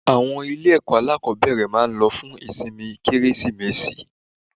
Àwọn ilé ẹ̀kọ́ alákòbẹ̀rẹ̀ máa lọ fún ìsinmi Kérésìmesì.